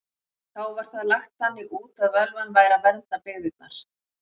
Þá var það lagt þannig út að völvan væri að vernda byggðirnar.